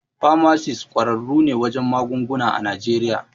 Famasis ƙwararru ne wajen magunguna a Najeriya.